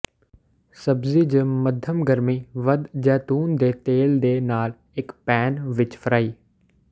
ਸਬਜ਼ੀ ਜ ਮੱਧਮ ਗਰਮੀ ਵੱਧ ਜੈਤੂਨ ਦੇ ਤੇਲ ਦੇ ਨਾਲ ਇੱਕ ਪੈਨ ਵਿੱਚ ਫਰਾਈ